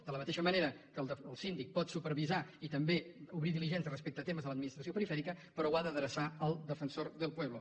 de la mateixa manera que el síndic pot supervisar i també obrir diligències respecte a temes de l’administració perifèrica però ho ha d’adreçar al defensor del pueblo